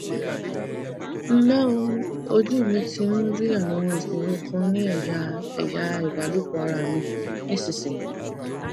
nle o ojú mi ti ń rí àwọn ìṣòro kan ní eya eya ìbálòpọ ara mi nísinsìnyí